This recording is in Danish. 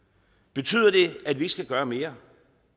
betyder det at vi ikke skal gøre mere